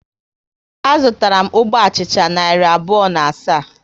A zụtara m ógbè achịcha narị abụọ na asaa